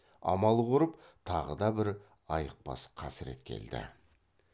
амал құрып тағы да бір айықпас қасірет келді